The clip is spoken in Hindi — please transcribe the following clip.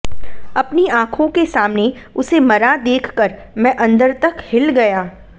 अपनी आंखों के सामने उसे मरा देखकर मैं अंदर तक हिल गया